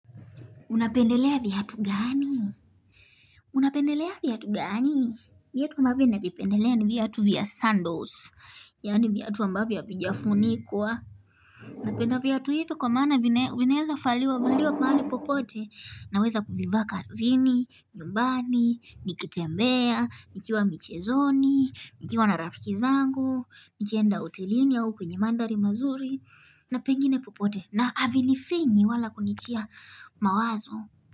Unapendelea viatu gani? Unapendelea viatu gani? Viatu ambavo navipendelea ni viatu vya sandals. Yaani viatu ambavyo havijafunikwa. Napenda viatu hivo kwa maana vinaeza faliwa valiwa mahali popote. Naweza kuvivaa kazini, nyumbani, nikitembea, nikiwa michezoni, nikiwa na rafiki zangu, nikienda hotelini au kwenye manthari mazuri, na pengine popote. Na avinifinyi wala kunitia mawazo.